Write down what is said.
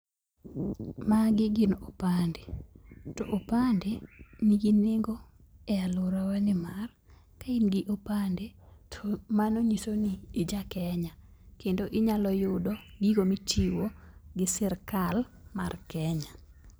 Magi gin opande. To opande nigi nengo e aluorawa nimar, ka in gi opande to mano nyiso ni ija Kenya kendo inyalo yudo gigo michiwo gi sirkal mar Kenya.